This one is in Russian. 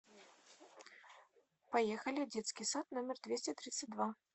поехали детский сад номер двести тридцать два